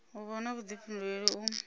u vha na vhuḓifhinduleli u